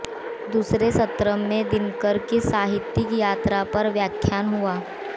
दूसरे सत्र में दिनकर की साहित्यिक यात्रा पर व्याख्यान हुआ